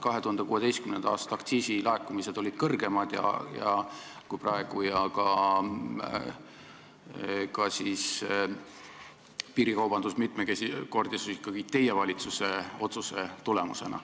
2016. aasta aktsiisilaekumised olid suuremad kui praegu ja piirikaubandus mitmekordistus ikkagi teie valitsuse otsuse tulemusena.